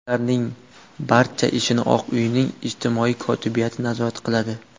Ularning barcha ishini Oq uyning ijtimoiy kotibiyati nazorat qiladi.